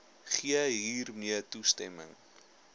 gee hiermee toestemming